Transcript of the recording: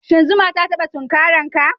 Shin zuma ta taba tunkare ka?